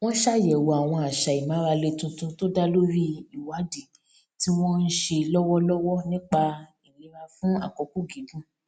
wón ṣàyèwò àwọn àṣà ìmárale tuntun tó dá lórí ìwádìí tí wón ń ṣe lówólówó nípa ìlera fún àkókò gígùn